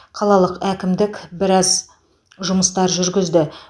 қалалық әкімдік біраз жұмыстар жүргізді